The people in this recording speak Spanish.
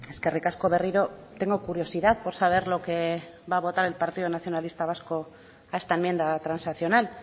eskerrik asko berriro tengo curiosidad por saber lo que va a votar el partido nacionalista vasco a esta enmienda transaccional